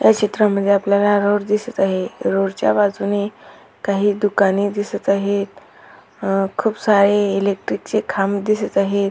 या चित्रामध्ये आपल्याला रोड दिसत आहे रोड च्या बाजूने काही दुकाने दिसत आहेत अ खूप सारे इलेक्ट्रिक चे खांब दिसत आहेत.